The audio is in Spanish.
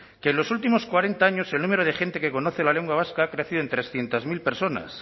que en los últimos cuarenta años el número de gente que conocen la lengua vasca creció en trescientos mil personas